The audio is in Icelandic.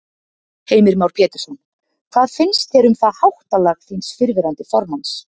Heimir Már Pétursson: Hvað finnst þér um það háttalag þíns fyrrverandi formanns?